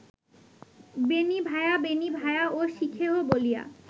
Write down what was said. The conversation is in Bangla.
বেণী ভায়া, বেণী ভায়া ও শিখেহো বলিয়া